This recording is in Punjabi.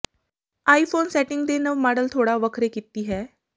ਆਈਫੋਨ ਸੈਟਿੰਗ ਦੇ ਨਵ ਮਾਡਲ ਥੋੜ੍ਹਾ ਵੱਖਰੇ ਕੀਤੀ ਹੈ